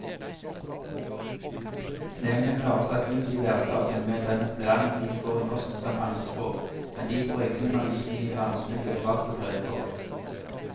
Elevene klarer seg fint i hverdagen med den opplæringen de får i norsk som annetspråk, men de får ingen undervisning i vanskelige fagbegreper.